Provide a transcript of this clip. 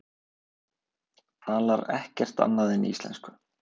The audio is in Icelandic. Talar ekkert annað en íslensku!